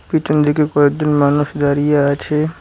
পিছন দিকে কয়েকজন মানুষ দাঁড়িয়ে আছে।